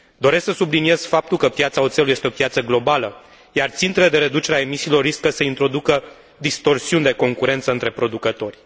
Doresc să subliniez faptul că piața oțelului este o piață globală, iar țintele de reducere a emisiilor riscă să introducă distorsiuni de concurență între producători.